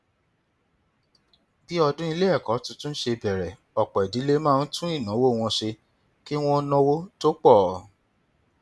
bí ọdún ilé ẹkọ tuntun ṣe bẹrẹ ọpọ ìdílé máa ń tún ìnáwó wọn ṣe kí wọn náwó tó pọ